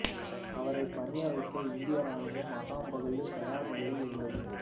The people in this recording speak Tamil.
அவரைப் பணிய வைக்க இந்திய ராணுவம் அசாம் பகுதியில் தயார் நிலையில் இருந்தது